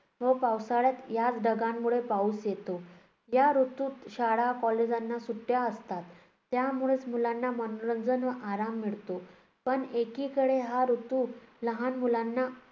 व पावसाळ्यात याच ढगांमुळे पाऊस येतो. या ऋतूत शाळा कॉलेजांना सुट्ट्या असतात. त्या मुळेच मुलांना मनोरंजन व आराम मिळतो. पण एकीकडे हा ऋतू लहान मुलांना